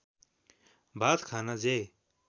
भात खान जे